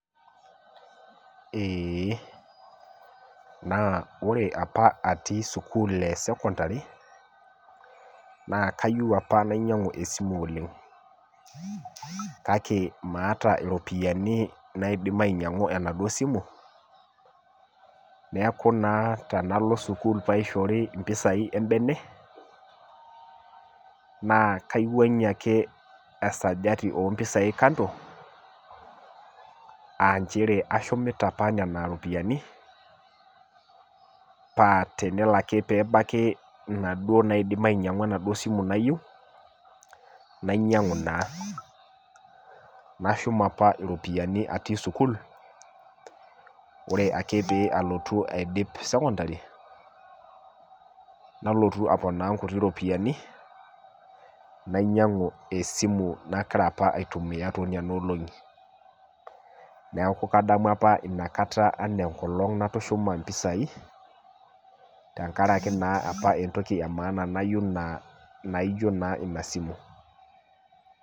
Eeh na ore apa atii sukul e sekondari na kayieu apa nainyangu esimu oleng kake maata iropiyiani naidim ainyangu enaduo simu neaku naatanalo sukul peishori mpisai embene na kaiwangie ake esajati ompisai aanchera ashumita apa inaripiyani pateno ake nebaki naduo nabaki enaduo simu nayieu nainyangu naa nashum apa ropiyiani atii sukul orealotu aidip sekondari nalotu aponaa nkutii ropiyani nainyangu esimu naitumia tonona olongi neaku kadamu apa inakata ana enkolong natushuma mpisai tenkaraki naa entoki emaana apa nayieu najo na ina simu.